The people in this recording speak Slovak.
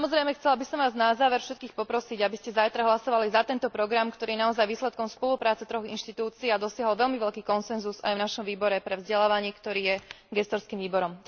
Chcela by som vás, samozrejme, na záver všetkých poprosiť, aby ste zajtra hlasovali za tento program, ktorý je naozaj výsledkom spolupráce troch inštitúcií a dosiahol veľmi veľký konsenzus aj v našom výbore pre vzdelávanie, ktorý je gestorským výborom.